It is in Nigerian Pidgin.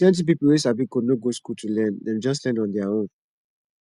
plenty people wey sabi code no go school to learn dem just learn on their own